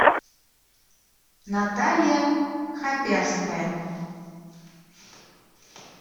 наталья хаперская